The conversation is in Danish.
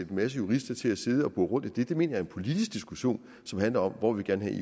masse jurister til at sidde og bore i det det mener jeg er en politisk diskussion som handler om hvor vi gerne